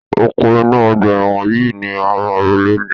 Oko inú ọgbà ẹ̀wọ̀n yìí ni ẹ máa ro lénìí